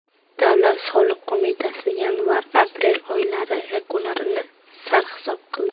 Davlat soliq qo‘mitasi yanvar-aprel oylari yakunlarini sarhisob qildi.